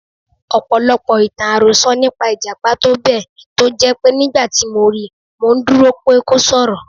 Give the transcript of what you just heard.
Ọ̀pọ̀lọpọ̀ ìtàn-àròsọ nípa Ìjàpá tó bẹ̀ tó jẹ́ pé nígbàtí mo ri, mò ńdúró pé kó s'ọ̀rọ̀.